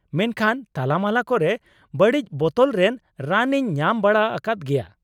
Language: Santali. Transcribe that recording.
ᱢᱮᱱᱠᱷᱟᱱ ᱛᱟᱞᱟᱼᱢᱟᱞᱟ ᱠᱚᱨᱮ ᱵᱟᱹᱲᱤᱡ ᱵᱚᱛᱚᱞ ᱨᱮ ᱨᱟᱱ ᱤᱧ ᱧᱟᱢ ᱵᱟᱲᱟ ᱟᱠᱟᱫ ᱜᱮᱭᱟ ᱾